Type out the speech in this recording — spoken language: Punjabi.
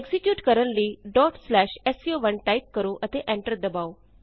ਐਕਜ਼ੀਕਿਯੂਟ ਕਰਨ ਲਈ sco1 ਟਾਈਪ ਕਰੋ ਅਤੇ ਐਂਟਰ ਦਬਾਉ